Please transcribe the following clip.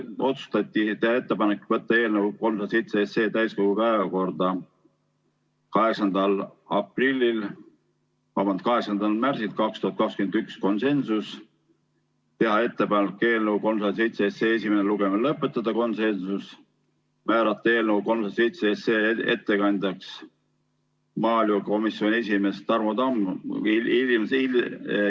Otsustati teha ettepanek võtta eelnõu 307 täiskogu päevakorda 8. märtsiks 2021 , teha ettepanek eelnõu 307 esimene lugemine lõpetada , määrata eelnõu 307 ettekandjaks maaelukomisjoni esimees Tarmo Tamm.